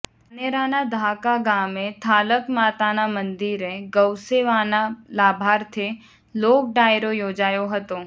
ધાનેરાના ધાખા ગામે થાલક માતાના મંદિરે ગૌસેવાના લાભાર્થે લોક ડાયરો યોજાયો હતો